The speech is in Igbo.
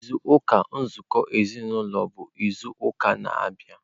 izu ụka nzụkọ ezinaụlọ bụ izu ụka na-abịa.